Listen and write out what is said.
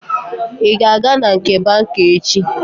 Ị ga-aga na nke banka echi?